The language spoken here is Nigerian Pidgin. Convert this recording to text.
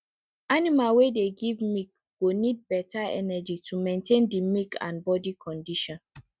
animal wey dey give milk go need better energy to maintain the milk and body condition